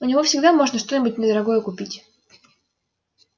у него всегда можно что-нибудь недорогое купить